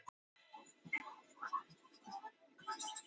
Liðið setur stefnuna á Meistaradeildarsæti.